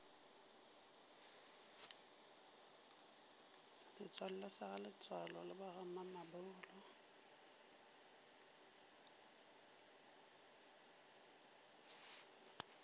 setswalle sa bagaletsoalo le bagamamabolo